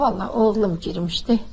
Vallah oğlum girmişdi.